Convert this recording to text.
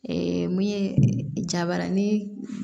min ye jabaranin